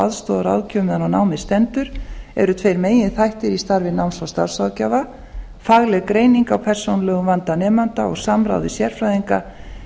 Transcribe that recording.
og aðstoðarráðgjöf meðan á námi stendur eru þeir meginþættir í starfi náms og starfsráðgjafa fagleg greining á persónulegum vanda nemanda og samráð við sérfræðinga